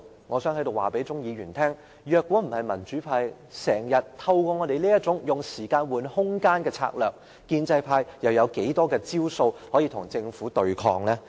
我想在此告訴鍾議員，如果不是民主派經常採取這種"用時間換空間"的策略，建制派又能有多少招數與政府對抗？